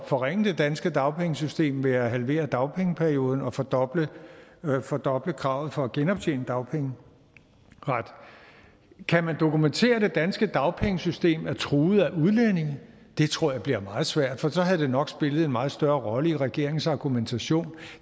forringe det danske dagpengesystem ved at halvere dagpengeperioden og fordoble og fordoble kravet for at genoptjene dagpengeret kan man dokumentere at det danske dagpengesystem er truet af udlændinge det tror jeg bliver meget svært for så havde det nok spillet en meget større rolle i regeringens argumentation